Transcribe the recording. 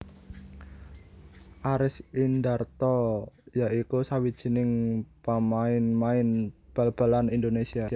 Aris Indarto ya iku sawijining pamainmain bal balan Indonésia